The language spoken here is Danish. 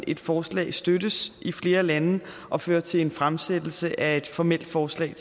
et forslag støttes i flere lande og fører til en fremsættelse af et formelt forslag